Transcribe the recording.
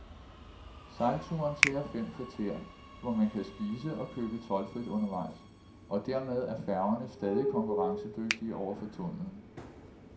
Sejlturen tager fem kvarter, hvor man spise og købe toldfrit undervejs, og dermed er færgerne stadig konkurrencedygtige over for tunnelen.